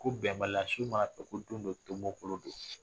Ko bɛnbalaso ma kɛ ko don dɔ tonbɔ kolon don